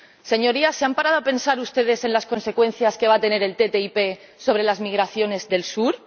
Señorías, ¿se han parado a pensar ustedes en las consecuencias que va a tener la ATCI sobre las migraciones del sur?